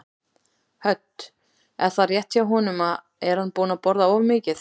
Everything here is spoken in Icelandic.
Hödd: Er það rétt hjá honum, er hann búinn að borða of mikið?